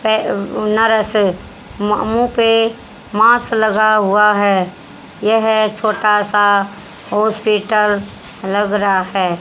पै पे मांस लगा हुआ है यह छोटा सा हॉस्पिटल लग रहा है।